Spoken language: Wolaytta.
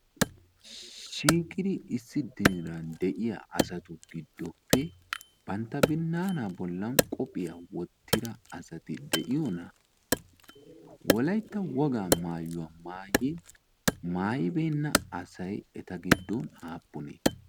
shigiri issi diiran de'iya asatu giddoppe bantta binnaanaa bollan qophiya wottira asati de'iyoona? wolaytta wogaa maayuwaa maayi maayibeenna asay eta giddon aappunii?